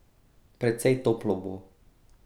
Precej toplo bo.